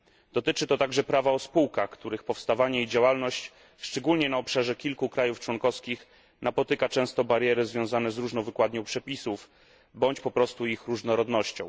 Dotyczy to także prawa o spółkach, których powstawanie i działalność szczególnie na obszarze kilku państw członkowskich napotyka często bariery związane z różną wykładnią przepisów, bądź po prostu z ich różnorodnością.